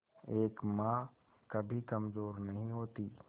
एक मां कभी कमजोर नहीं होती